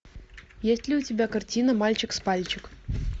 есть ли у тебя картина мальчик с пальчик